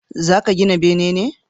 Za ka gina bene ne?